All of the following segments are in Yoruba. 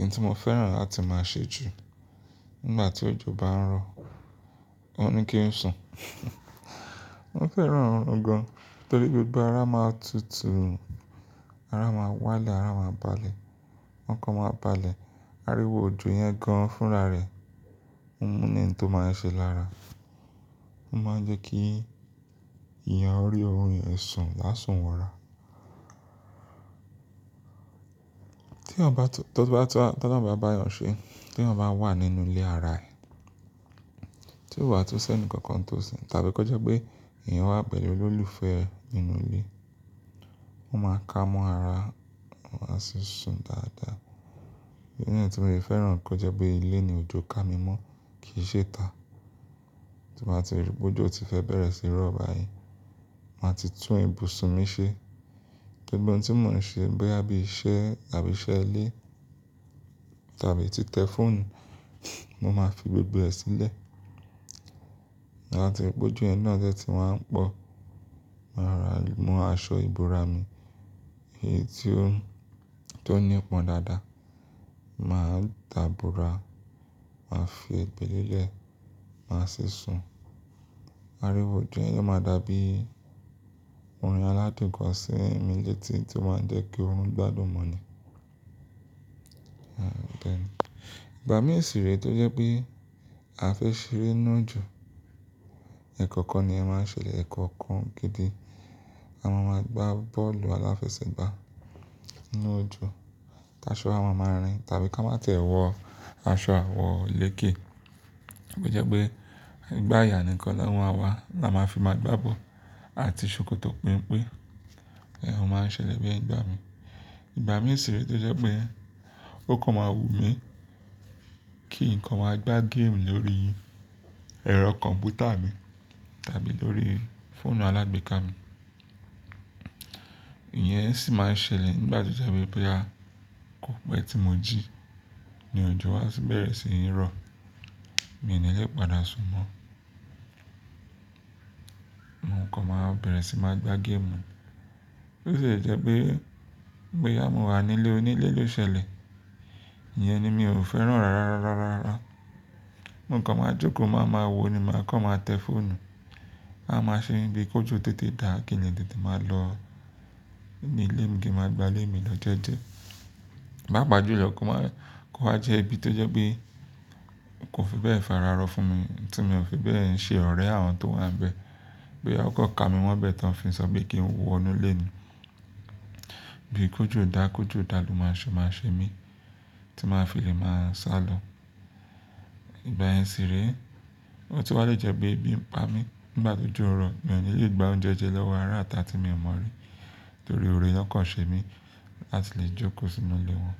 Oun tí mo fẹ́ràn láti máa ṣe jù nígbà tí òjò bá ń rọ, òun ni kí n sùn. Mo fẹ́ràn òrun gan-an torí gbogbo ara máa tutù, ara máa wálẹ̀, ara máa balẹ̀, okan máa balẹ̀, ariwo òjò yẹn gan-an fúnra rẹ̀, òni ǹkan tó máa ń ṣe lára, ó máa ń jẹ́ kí eeyàn rí orun yẹ̀n sùn lásùn wọra. Tí eeyan tun, to lorun ba bá yàn ṣe, tí eeyan ba wa nínú ilé ara ẹ̀, tí ó wà tun si enikankan nítòsí tàbí kó jẹ́ pé èèyàn wà pẹ̀lú olólùfẹ́ e nínú ilé, won máa kámọ ara, won a sì sùn dáadáa. Ki eeyan tun le fẹ́ràn kó jẹ́ pé ilé ni òjò ká mi mọ́ kì í ṣe ìta. Tí mo bá ti rí pé òjò ti fẹ́ bẹ̀rẹ̀ sí í rọ̀ báyìí, màá ti tún ibùsùn mi ṣe. Gbogbo ohun tí mò ń ṣe bóyá bí iṣẹ́ tàbí iṣẹ́ ilé tàbí ti tẹ fóònù, mo máa fi gbogbo ẹ̀ sílẹ̀. Ti n ba ti ri pe ojo yẹn náà de tí wá ń pọ̀, màá ro ra mu aṣọ ìbora mi, èyí tí ó, tó ní pọ́n dáadáa, màá dàbóra, màá fi egbè lélẹ̀, màá sì sùn. Ariwo òjò yẹn yóò máa dàbí orin aládunko sí mi létí tí ó máa jẹ́ kí orun gbádùn mó ni. Ẹ̀ bẹ́ẹ̀ ni. Ìgbà mí ṣìrẹ́ tó jẹ́ pé a fẹ́ ṣeré nínú òjò, ẹ̀kọ̀kan ni iyen máa ń ṣẹlẹ̀ ẹ̀kọ̀kan gidi. A máa máa gbá bọ́ọ̀lù aláfẹsẹ̀gbá nínú òjò, ti asọ a máa máa rìn tàbí ká máa ti ẹ́ wọ aṣọ àwọ̀ léke. Tó jẹ́ pé ìgbàyà nìkan la ma àwa la máa fi máa gbá bọ́ọ̀lù àti ṣòkòtò penpe. Ẹ̀hn, ó máa ń ṣẹlẹ̀ bẹ́ẹ̀ nígbà mii. Ìgbà mí ìṣìrẹ́ tó jẹ́ pé ó kan máa wù mí kí nǹkan máa gbá géèmù lórí ẹ̀rọ kọ̀m̀pútà mi tàbí lórí fóònù alágbèéká mi, ìyẹn sì máa ń ṣẹlẹ̀ nígbà tó jẹ́ wipé bóyá kò pẹ́ tí mo jí ní òjò wá tun bẹ̀rẹ̀ sí í rọ̀, mi ò ní lè padà sùn mọ́. Nǹkan máa bẹ̀rẹ̀ sí máa gbá game. Ó sì le jẹ́ pé bóyá mo wà nílé onílé ló ṣẹlẹ̀, ìyẹn ni mi ò fẹ́ràn rárá, rárá, rárá. Mo kan máa jókòó, màá máa wòó ni, màá kàn máa tẹ́ fóònù, a máa ṣe mi bí kójò tètè dá kí n le tètè máa lọ ní ilé mi kí n máa gba lé mi lo jejẹ. Paa pa júlọ kó máa kó wa jẹ́ ibi tó jẹ́ pé kò fi bẹ́ẹ̀ fara rọ fún mi tí mio fi bẹ́ẹ̀ ń ṣe ọ̀rẹ́ àwọn tó wà níbẹ̀. Bo ya won kàn ka mi mo bẹ́ẹ̀ ti won fi sọ pe kí n wọ inú ilé ni. Bí kójò dá kójò dà lo máa se maa ṣe mí tí màá fi lè máa sálọ. Ìgbà yẹn sì re. Ó tun wá lè jẹ́ pé ebi ń pa mí nígbà tó jó n rọ̀, mi ò ní lè gba oúnjẹ jẹ lọ́wọ́ ará ita tí mi ò mọ̀ rí torí òré wọn kàn ṣe mí láti lè jókòó sínú ilé wọn.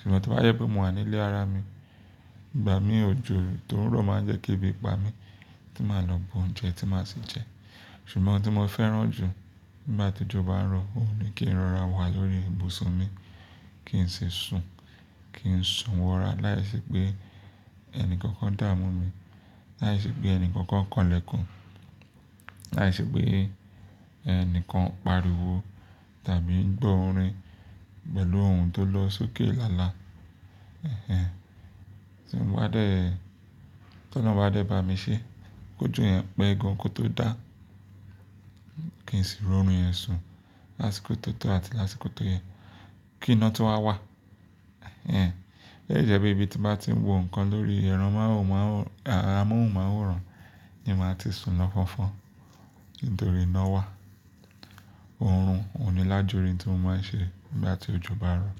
Ṣùgbọ́n to ba jẹ pé mo wà nílé ara mi, ìgbà mí òjò tó ń rọ̀ máa ń jẹ́ kí ebi pa mí tí màá lọ bu oúnjẹ tí màá sì jẹ. Ṣùgbọ́n ohun tí mo fẹ́ràn jù nígbà tí òjò bá ń rọ, òun ni kí n rọra wà lórí ibùsùn mi, kí n sì sùn, kí n sùn wọra láìsí pé ẹni kankan dà mú mi, láìsí pé ẹni kankan kan lẹ́kùn, láìsí pé ẹni kan pariwo tàbí ń gbọ́ orin pẹ̀lú ohun tó lọ sókè lala. Ẹ̀hẹ́n. Ti mo bá dé, tí ọlọ́run bá dé bá mi ṣe, kójò yẹn pẹ́ gan kó tó dá, kí n sì ri orun yẹn sùn lásìkò tó tó àti lásìkò tó yẹ kí iná tun wá wà. Ẹ̀hẹ́n. Ó lè jẹ́ pé ibi tí màá ti ń wo nǹkan lórí ẹro mohunmaworan, à, amóhùn máworan ni màá ti sùn lọ́ fọ̀nfọ̀n nítorí iná wà. Orun òní lájúrin tí mo máa ń ṣe nígbà tí òjò bá rọ̀.